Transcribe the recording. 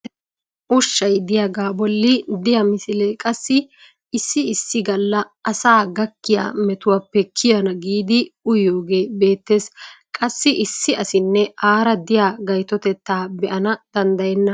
ushshay diyaagaa bolli diya misilee qassi issi issi gala asaa gakkiya metuwaappe kiyana giidi uyyiyoogee beetees. qassi issi asinne aara diya gayttotettaa be'aana danddayenna.